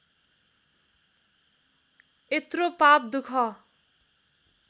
यत्रो पाप दुख